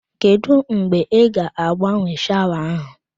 Kedụ mgbe ị ga agbanwe shawa ahụ